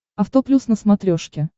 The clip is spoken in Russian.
авто плюс на смотрешке